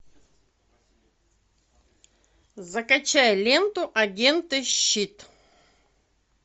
закачай ленту агенты щит